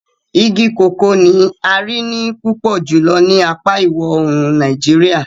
Igi koko ni ń a rii pupọ julọ ni apa iwọ-oorun Nàìjíríà.